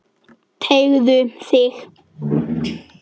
Teygðu þig.